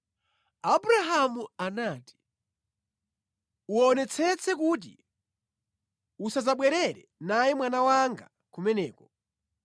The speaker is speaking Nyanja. Abrahamu anati, “Uwonetsetse kuti usadzabwerere naye mwana wanga kumeneko.